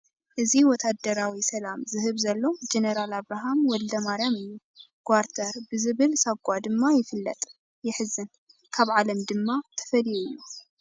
እዚ ወታደራዊ ሰላምታ ይህብ ዘሎ ጀነራል ኣብርሃ ወልደማርያም እዩ፡፡ ጓርተር ብዝብል ሳጓ ድማ ይፍለጥ፡፡ የሕዝን፡፡ ካብ ዓለም ድማ ተፈልዩ እዩ፡፡